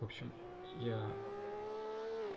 в общем я